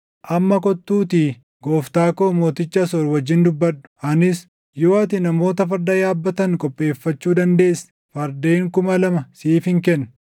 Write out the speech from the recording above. “ ‘Amma kottuutii gooftaa koo mooticha Asoor wajjin dubbadhu; anis yoo ati namoota farda yaabbatan qopheeffachuu dandeesse fardeen kuma lama siifin kenna!